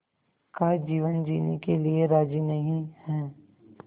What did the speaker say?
का जीवन जीने के लिए राज़ी नहीं हैं